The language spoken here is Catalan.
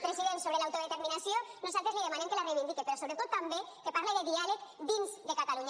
president sobre l’autodeterminació nosaltres li demanem que la reivindique però sobretot també que parle de diàleg dins de catalunya